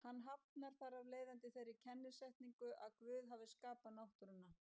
Hann hafnar þar af leiðandi þeirri kennisetningu að Guð hafi skapað náttúruna.